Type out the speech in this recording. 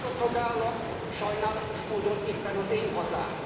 Ez a tagállam sajnálatos módon éppen az én hazám.